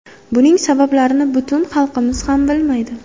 Buning sabablarini butun xalqimiz ham bilmaydi.